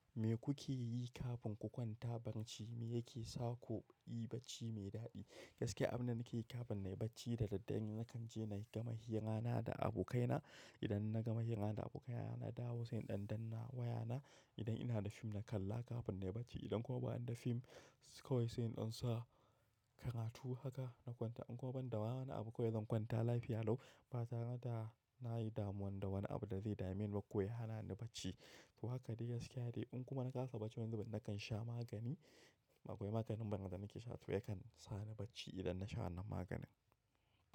Me kuke yi kafin ku kwanta barnci? Me yake sa. Kuyi bacci mai dadi. Gaskiy abin da nake yi kafin na yi bacci da daddare, na kan je na gama hira na da abokaina. Idan na gama hira da abokaya na, na dawo sai dan danna wayana. Idan ina da fim na kalla kafin na yi bacci, idan kuma bani da fim kawai sai in dansa karatu haka na kwanta. In kuma ban da waya na abu kawai zan kwanta lafiya lau. Ba tare da na yi damuwa da wani abu da zai dame ni ba ko ya hana ni bacci. To haka de gaskiya de. In kuma na kasa bacci wani zubin, na kan sha magani. Akwai maganin man da nake sha, to yakan sa ni bacci idan na sha wannan maganin.